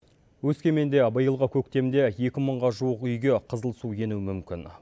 өскеменде биылғы көктемде екі мыңға жуық үйге қызыл су енуі мүмкін